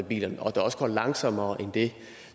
biler og at det også går langsommere end det